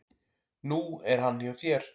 Nú er hann hjá þér.